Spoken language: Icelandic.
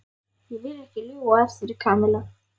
Ég vil ekki ljúga að þér, Kamilla.